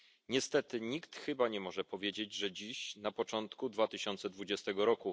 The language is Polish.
Niestety nikt chyba nie może powiedzieć, że dziś, na początku 2020 r.